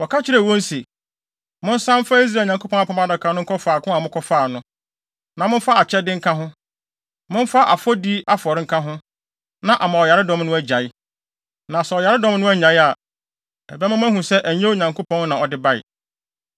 Wɔka kyerɛɛ wɔn se, “Monsan mfa Israel Nyankopɔn Apam Adaka no nkɔ faako a mokɔfaa no, na momfa akyɛde nka ho. Momfa afɔdi afɔre nka ho, na ama ɔyaredɔm no agyae. Na sɛ ɔyaredɔm no annyae a, ɛbɛma moahu sɛ ɛnyɛ Onyankopɔn na ɔde bae.”